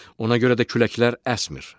Ona görə də küləklər əsmir.